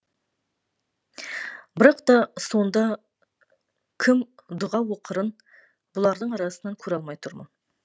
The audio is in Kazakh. бірақ та сонда кім дұға оқырын бұлардың арасынан көре алмай тұрмын